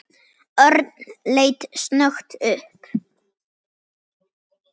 Örn leit snöggt upp.